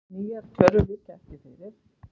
Nýrri tölur liggja ekki fyrir.